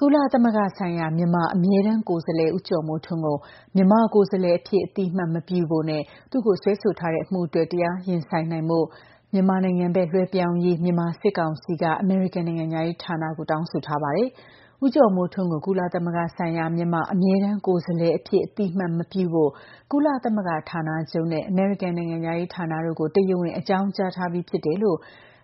ကုလသမဂ္ဂဆိုင်ရာ မြန်မာအမြဲတမ်းကိုယ်စားလှယ် ဦးကျော်မိုးထွန်းကို မြန်မာကိုယ်စားလှယ်အဖြစ်အသိအမှတ်မပြုဖို့နဲ့ သူ့ကို စွဲဆိုထားတဲ့ အမှုအတွက် တရားရင်ဆိုင်ဖို့ မြန်မာနိုင်ငံဘက် လွဲှပြောင်ပေးရေး မြန်မာစစ်ကောင်စီက အမေရိကန်နိုင်ငံခြားရေးဌာနကို တောင်းဆိုထားပါတယ်။ ဦးကျော်မိုးထွန်းကို ကုလသမဂ္ဂဆိုင်ရာမြန်မာအမြဲတမ်း ကိုယ်စားလှယ်အဖြစ် အသိအမှတ်မပြုဖို့ ကုလသမဂ္ဂဌာနချုပ်နဲ့ အမေရိကန်နိုင်ငံခြားရေး ဌာနတို့ကို တရားဝင် အကြောင်းကြားထားပြီးဖြစ်တယ်လို့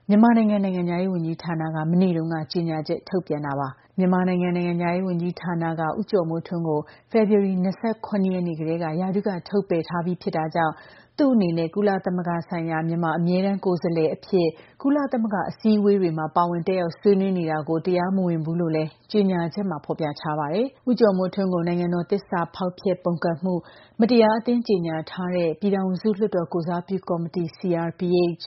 မြန်မာနိုင်ငံ နိုင်ငံခြားရေး ဝန်ကြီးဌာနက မနေ့တုန်းက ကြေညာချက်ထုတ်ပြန်တာပါ။ မြန်မာနိုင်ငံ နိုင်ငံခြားရေးဝန်ကြီးဌာနက ဦးကျော်မိုးထွန်း ကို ဖေဖော်ဝါရီလ ၂၇ ရက်နေ့ကတည်းက ရာထူးက ထုတ်ပယ်ထားပြီးဖြစ်တာကြောင့် သူ့အနေနဲ့ ကုလသမဂ္ဂဆိုင်ရာမြန်မာအမြဲတမ်း ကိုယ်စားလှယ်အဖြစ် ကုလသမဂ္ဂအစည်းအဝေးတွေမှာ ပါဝင်တက်ရောက် ဆွေးနွေးနေတာကို တရားမဝင်ဘူးလို့လည်း ကြေညာချက်မှာ ဖော်ပြထားပါတယ်။ ဦးကျော်မိုးထွန်းကို နိုင်ငံတော် သစ္စာဖောက်ဖျက်ပုန်ကန်မှု၊ မတရားအသင်းကြေညာထားတဲ့ ပြည်ထောင်စု လွှတ်တော်ကိုယ်စားပြုကော်မတီ CRPH၊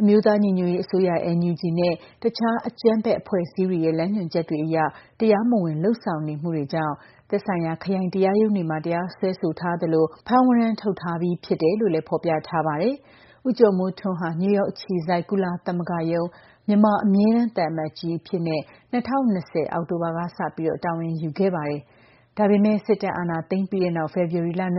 အမျိုးသားညီညွတ်ရေး အစိုးရ NUG နဲ့ တခြား အကြမ်းဖက် အဖွဲ့အစည်းတွေရဲ့ လမ်းညွှန်ချက်တွေအရ တရားမဝင်လုပ်ဆောင်မှုတွေကြောင့် သက်ဆိုင်ရာ ခရိုင်တရားရုံးတွေမှာ တရားစွဲဆိုထားသလို ဖမ်းဝရမ်းထုတ်ထားပြီးဖြစ်တယ်လို့လည်း ဖော်ပြထားပါတယ်။ ဦးကျော်မိုးထွန်းဟာ နယူးယောက်အခြေစိုက် ကုလသမဂ္ဂရုံး မြန်မာအမြဲတမ်းသံအမတ်ကြီးအဖြစ်နဲ့ ၂၀၂၀ အောက်တိုဘာလကစလို့ တာဝန်ယူခဲ့တာပါ။ ဒါပေမဲ့ စစ်တပ်ကအာဏာသိမ်းပြီးတဲ့နောက် ဖေဖော်ဝါရီလ ၂၆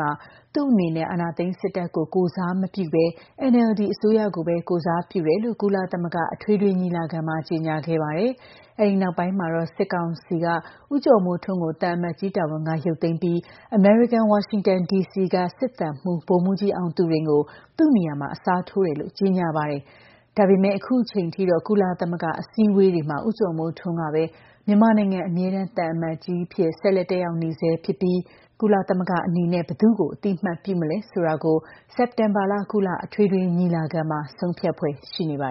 မှာတော့ သူ့အနေနဲ့ အာဏာသိမ်းစစ်တပ်ကို ကိုယ်စားမပြုပဲ၊ NLD အစိုးရကိုပဲ ကိုယ်စားပြုတယ်လို့ ကုလသမဂ္ဂအထွေထွေညီလာခံမှာ ကြေညာခဲ့ပါတယ်။ အဲဒီနောက်ပိုင်းမှာတော့ စစ်ကောင်စီက ဦးကျော်မိုးထွန်းကို သံအမတ်ကြီးတာဝန်က ရုပ်သိမ်းပြီး၊ အမေရိကန်ဝါရှင်တန်ဒီစီက စစ်သံမှူး ဗိုလ်မှူးကြီးအောင်သူရိန်ကို သူ့နေရာမှာ အစားထိုးတယ်လို့ ကြေညာပါတယ်။ ဒါပေမယ့် အခုအချိန်အထိတော့ ကုလသမဂ္ဂ အစည်းအဝေးတွေမှာ ဦးကျော်မိုးထွန်းကပဲ မြန်မာနိုင်ငံအမြဲတမ်းသံအမတ်ကြီးအဖြစ် ဆက်လက် တက်ရောက်နေဆဲရှိပြီး၊ ကုလသမဂ္ဂအနေနဲ့ ဘယ်သူ့ကို အသိအမှတ်ပြုမလဲဆိုတာကို စက်တင်ဘာလ ကုလ အထွေထွေညီလာခံမှာ ဆုံးဖြတ်ဖွယ်ရှိနေပါ